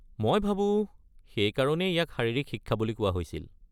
মই ভাবোঁ, সেইকাৰণেই ইয়াক শাৰীৰিক শিক্ষা বুলি কোৱা হৈছিল।